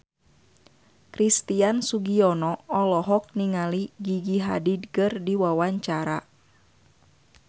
Christian Sugiono olohok ningali Gigi Hadid keur diwawancara